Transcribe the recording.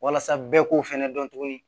Walasa bɛɛ k'o fɛnɛ dɔn tuguni